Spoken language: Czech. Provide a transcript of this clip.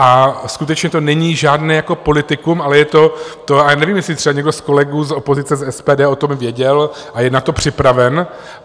A skutečně to není žádné jako politikum, ale je to to, ale nevím, jestli třeba někdo z kolegů z opozice, z SPD o tom věděl a je na to připraven.